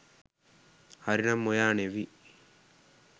හරිනම් ඔයා නෙවි